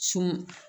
Sun